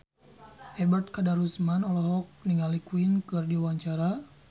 Ebet Kadarusman olohok ningali Queen keur diwawancara